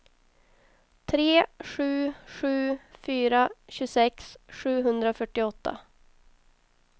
tre sju sju fyra tjugosex sjuhundrafyrtioåtta